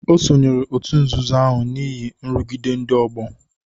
O sonyeere òtù nzuzo ahụ n'ihi nrụgide ndị ọgbọ.